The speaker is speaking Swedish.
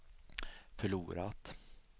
förlorat